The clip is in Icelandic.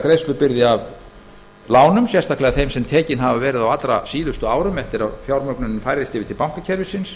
greiðslubyrði af lánum sérstaklega þeim sem tekin hafa verið á allra síðustu árum eftir að fjármögnun færðist yfir til bankakerfisins